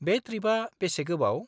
-बे ट्रिपआ बेसे गोबाव?